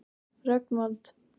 Rögnvald